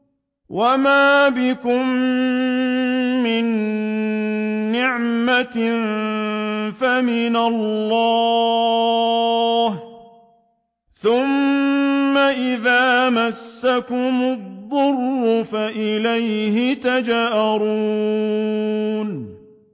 وَمَا بِكُم مِّن نِّعْمَةٍ فَمِنَ اللَّهِ ۖ ثُمَّ إِذَا مَسَّكُمُ الضُّرُّ فَإِلَيْهِ تَجْأَرُونَ